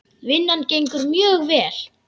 Vinnan gengur mjög vel.